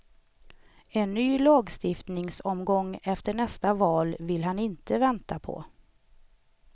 En ny lagstiftningsomgång efter nästa val vill han inte vänta på.